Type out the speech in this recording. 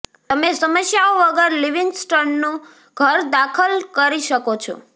તમે સમસ્યાઓ વગર લિવિન્ગ્સ્ટનનું ઘર દાખલ કરી શકો છો